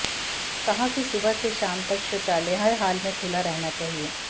कहा कि सुबह से शाम तक शौचालय हर हाल में खुला रहना चाहिए